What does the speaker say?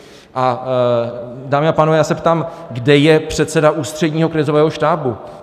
A dámy a pánové, já se ptám, kde je předseda Ústředního krizového štábu?